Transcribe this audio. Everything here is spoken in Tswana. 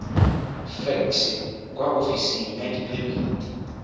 fekse kwa ofising ya diphemiti